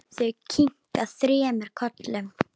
Þau kinka þremur kollum.